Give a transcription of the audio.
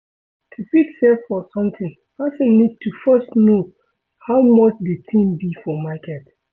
To fit save for something, person need to first know how much di thing be for market